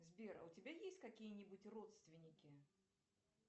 сбер а у тебя есть какие нибудь родственники